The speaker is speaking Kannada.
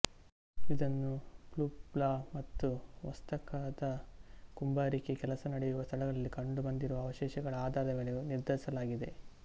ಇದನ್ನು ಪ್ಯುಬ್ಲಾ ಮತ್ತು ಒಕ್ಸಾಕಾದ ಕುಂಬಾರಿಕೆ ಕೆಲಸ ನಡೆಯುವ ಸ್ಥಳಗಳಲ್ಲಿ ಕಂಡು ಬಂದಿರುವ ಅವಶೇಷಗಳ ಆಧಾರದ ಮೇಲೆ ನಿರ್ಧರಿಸಲಾಗಿದೆ